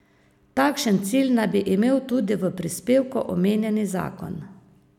Takšen cilj naj bi imel tudi v prispevku omenjeni zakon.